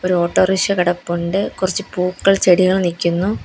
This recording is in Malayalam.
ഒരു ഓട്ടോറിക്ഷ കിടപ്പുണ്ട് കുറച്ച് പൂക്കൾ ചെടികൾ നിൽക്കുന്നു.